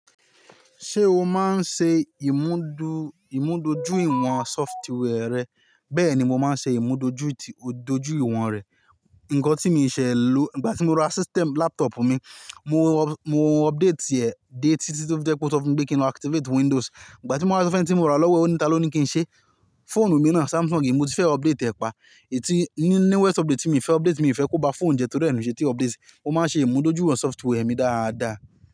Ṣé o máa ń ṣe ìmúdó- ìmúdójúìwọ̀n software rẹ? Bẹ́ẹ̀ ni mo máa ń ṣe ìmúdójúìwọ̀n rẹ̀. Nǹkan tí mo ṣẹ ló, ìgbà tí mo ra system laptop mi, mo update ẹ dé tí jẹ́ pé ó sọ fún mi pé kí n activate Windows. Ìgbà tí mo wá sọ fún ẹni tí mora lọ́wọ́ ẹ, ó ní ta ló ní kí n ṣe. Phone mi náà Samsung mi, mo ti fẹ́ update ẹ pa. Ètí ní newest update tí mo fẹ́ update, mi ò fẹ́ kó ba phone jẹ torí ẹ̀ ni mi ò ṣe tí update, mo máa ṣe ìmúdójúìwọ̀n software mi dáadáa.